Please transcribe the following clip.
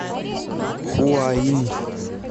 хуаин